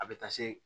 A bɛ taa se